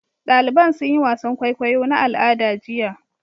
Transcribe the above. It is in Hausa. Daliban sun yi wasan kwaikwayo na al'ada jiya.